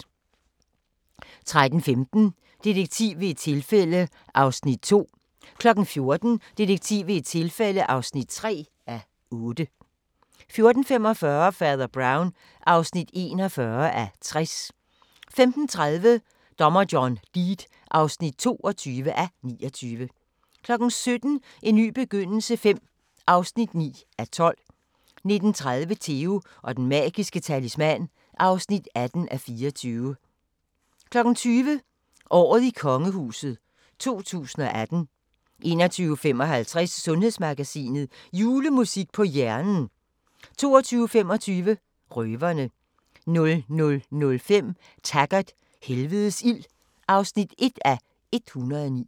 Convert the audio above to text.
13:15: Detektiv ved et tilfælde (2:8) 14:00: Detektiv ved et tilfælde (3:8) 14:45: Fader Brown (41:60) 15:30: Dommer John Deed (22:29) 17:00: En ny begyndelse V (9:12) 19:30: Theo & Den Magiske Talisman (18:24) 20:00: Året i kongehuset 2018 21:55: Sundhedsmagasinet: Julemusik på hjernen 22:25: Røverne 00:05: Taggart: Helvedes ild (1:109)